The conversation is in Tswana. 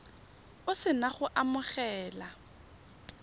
o se na go amogela